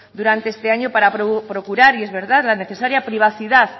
durante este año para procurar y es verdad la necesaria privacidad